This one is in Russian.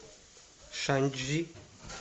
шанчжи